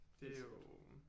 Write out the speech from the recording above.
Det er jo